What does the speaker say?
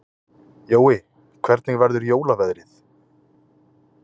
Jói, hvernig verður jólaveðrið?